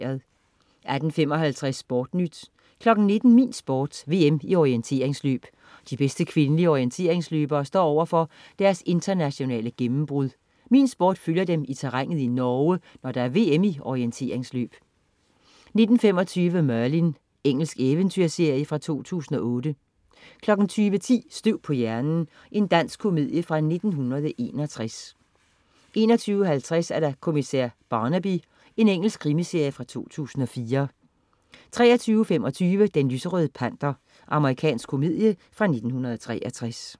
18.55 SportNyt 19.00 Min Sport. VM i orienteringsløb. De bedste kvindelige orienteringsløbere står overfor deres internationale gennembrud. Min Sport følger dem i terrænet i Norge, når der er VM i orienteringsløb 19.25 Merlin. Engelsk eventyrserie fra 2008 20.10 Støv på hjernen. Dansk komedie fra 1961 21.50 Kriminalkommissær Barnaby. Engelsk krimiserie fra 2004 23.25 Den lyserøde panter. Amerikansk komedie fra 1963